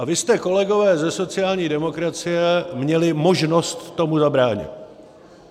A vy jste, kolegové ze sociální demokracie, měli možnost tomu zabránit.